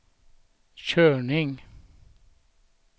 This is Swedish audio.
körning